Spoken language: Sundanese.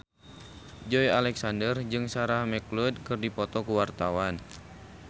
Joey Alexander jeung Sarah McLeod keur dipoto ku wartawan